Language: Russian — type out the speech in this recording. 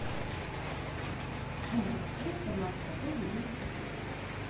алиса подскажи информацию про поздний выезд в отель